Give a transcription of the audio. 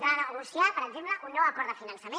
renegociar per exemple un nou acord de finançament